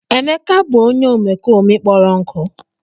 Emeka bụ onye omekome kpọrọ nkụ.